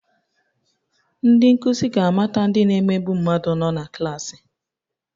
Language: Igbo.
Ndị nkuzi ga-amata ndị na-emegbu mmadụ nọ na klaasị